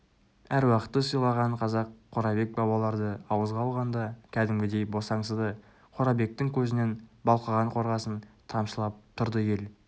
аруақты сыйлаған қазақ қорабек бабаларды ауызға алғанда кәдімгідей босаңсыды қорабектің көзінен балқыған қорғасын тамшылап тұрды ел